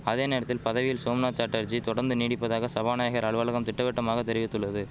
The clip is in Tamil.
அதே நேரத்தில் பதவியில் சோம்நாத் சாட்டர்ஜி தொடர்ந்து நீடிப்பதாக சபாநாயகர் அலுவலகம் திட்டவட்டமாக தெரிவித்துள்ளது